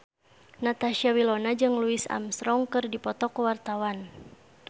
Natasha Wilona jeung Louis Armstrong keur dipoto ku wartawan